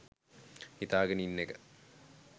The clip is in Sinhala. හිතාගෙන ඉන්න එක.